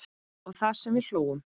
Og það sem við hlógum.